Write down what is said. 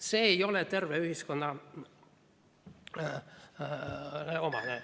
See ei ole tervele ühiskonnale omane.